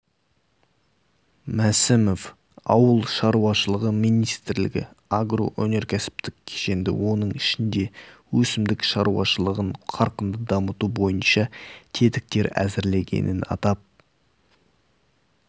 мәсімов ауыл шаруашылығы министрлігі агроөнеркәсіптік кешенді оның ішінде өсімдік шаруашылығын қарқынды дамыту бойынша тетіктер әзірлегенін атап